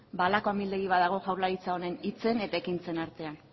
ba halako amildegi badago jaurlaritza honen hitzen eta ekintzen artean